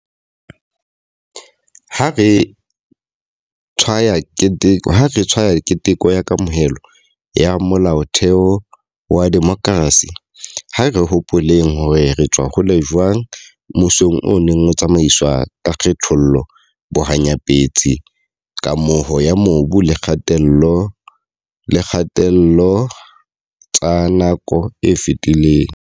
Ha re tshwaya keteko ya kamohelo ya Molaotheo wa demokrasi, ha re hopoleng hore re tswa hole jwang mmusong o neng o tsamaiswa ka kgethollo, bohanyapetsi, kamoho ya mobu le kgatello tsa nako e fetileng.